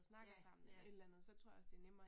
Ja, ja